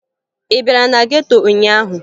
Ị bịara na geto ụnyaahụ?